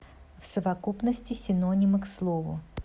в совокупности синонимы к слову